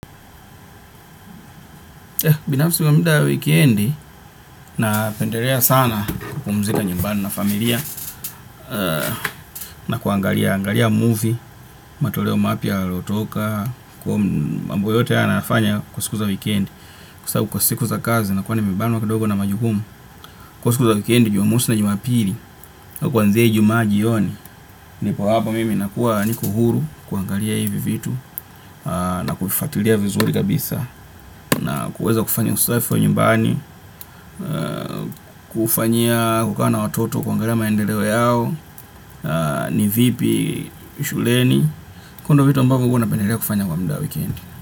Binafsi muda ya weekendi napendelea sana kupumzika nyumbani na familia na kuangalia movie, matoleo mapya yaliyotoka, kwa mambo yote haya nayafanya kwa siku za weekendi, kwa sababu kwa siku za kazi nakuwa nimebanwa kidogo na majukumu, kwa siku za weekendi jumamosi na jumapili au kuanzia ijumaa jioni, nipo hapo mimi nakuwa niko huru kuangalia hivi vitu na kuvifuatilia vizuri kabisa na kuweza kufanya usafi wa nyumbani, kufanya, kukaa na watoto kuangalia maendeleo yao ni vipi shuleni. Kwa hio ndio vitu ambavyo napendelea kufanya. Kwa muda wa wikendi.